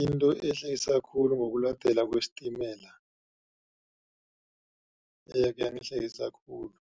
Into ehlekisa khulu ngokuladelwa kwesitimela eyakhe yangihlekisa khulu.